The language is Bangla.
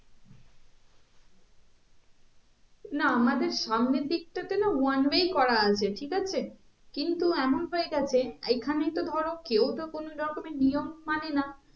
না আমাদের সামনের দিকটা তে না one way করা আছে ঠিক আছে কিন্তু এমন হয়ে গেছে এখানেই তো ধরো কেও তো কোনো রকমের নিয়ম মানে না